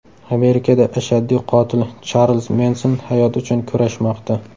Amerikada ashaddiy qotil Charlz Menson hayot uchun kurashmoqda.